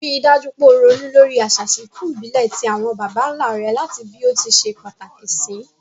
Rí dájú pe o ronú lórí àsà ìsinkù ìbílè ti àwon bàbánlá re làti bí o ti se pàtàkì sì